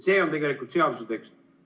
See on tegelikult seaduse tekst.